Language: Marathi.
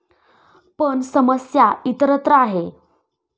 पण समस्या इतरत्र आहे.